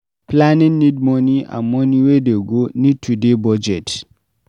Planning need moni and moni wey dey go need to dey budget